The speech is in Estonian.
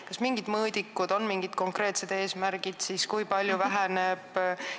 Kas on mingid mõõdikud, kas on mingid konkreetsed eesmärgid, kui palju lõhe peaks vähenema?